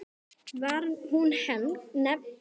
Var hún nefnd